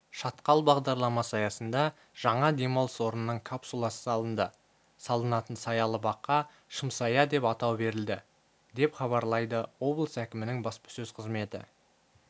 шатқал бағдарламасы аясында жаңа демалыс орнының капсуласы салынды салынатын саялы баққа шымсая деп атау берілді деп хабарлайды облыс әкімінің баспасөз қызметі